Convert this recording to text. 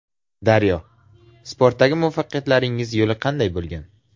Daryo: Sportdagi muvaffaqiyatlaringiz yo‘li qanday bo‘lgan?